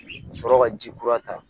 Ka sɔrɔ ka ji kura ta